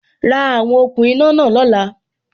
Ra àwon okùn iná náà lóla